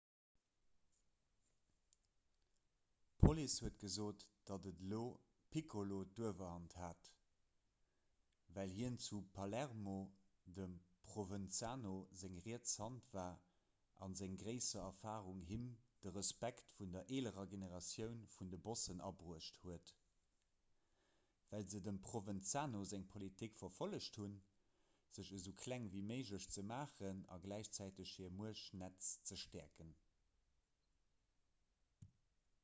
d'police huet gesot datt de lo piccolo d'uewerhand hat well hien zu palermo dem provenzano seng riets hand war a seng gréisser erfarung him de respekt vun der eelerer generatioun vun de bossen abruecht huet well se dem provenzano seng politik verfollegt hunn sech esou kleng ewéi méiglech ze maachen a gläichzäiteg hiert muechtnetz ze stäerken